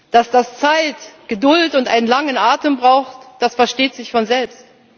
Dass das Zeit, Geduld und einen langen Atem braucht, das versteht sich von selbst.